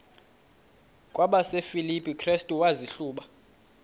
kwabasefilipi restu wazihluba